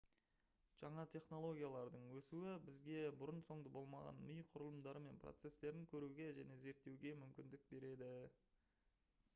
жаңа технологиялардың өсуі бізге бұрын-соңды болмаған ми құрылымдары мен процестерін көруге және зерттеуге мүмкіндік береді